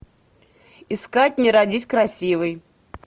искать не родись красивой